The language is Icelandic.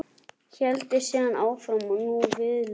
Héldi síðan áfram og nú viðstöðulaust